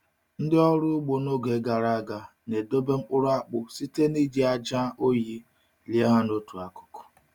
Ndị ọrụ ugbo n’oge gara aga na-edobe nkpuru akpụ site n’iji ájá oyi lie ha n’otu akụkụ.